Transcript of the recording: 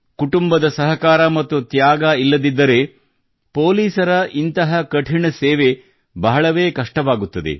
ಕುಟುಂಬದ ಸಹಕಾರ ಮತ್ತು ತ್ಯಾಗ ಇಲ್ಲದಿದ್ದರೆ ಇಂತಹ ಕಠಿಣ ಸೇವೆ ಬಹಳವೇ ಕಷ್ಟವಾಗುತ್ತದೆ